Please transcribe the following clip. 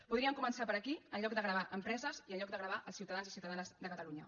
podrien començar per aquí en lloc de gravar empreses i en lloc de gravar els ciutadans i ciutadanes de catalunya